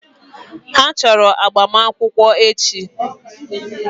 Ha chọrọ agbamakwụkwọ echi.